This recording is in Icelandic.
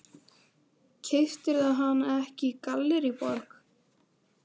Keyptirðu hana ekki í Gallerí Borg?